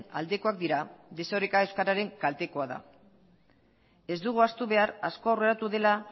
aldekoak dira desoreka euskararen kaltekoa da ez dugu ahaztu behar asko aurreratu dela